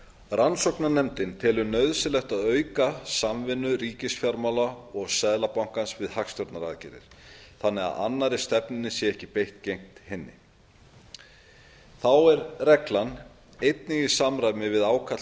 rannsóknarnefndin telur nauðsynlegt að auka samvinnu ríkisfjármála og seðlabankans við hagstjórnaraðgerðir þannig að annarri stefnunni sé ekki beitt gegn hinni þá er reglan einnig í samræmi við ákall